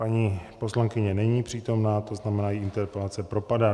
Paní poslankyně není přítomna, to znamená, její interpelace propadá.